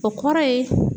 O kɔrɔ ye